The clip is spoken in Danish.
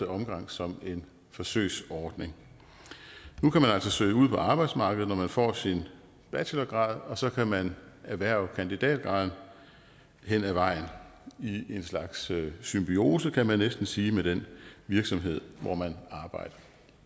omgang som en forsøgsordning nu kan man altså søge ud på arbejdsmarkedet når man får sin bachelorgrad og så kan man erhverve kandidatgraden hen ad vejen i en slags symbiose kan man næsten sige med den virksomhed hvor man arbejder